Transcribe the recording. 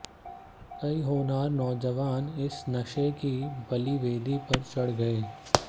कई होनहार नौजवान इस नशे की बलिवेदी पर चढ़ गए